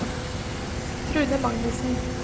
Trude Magnussen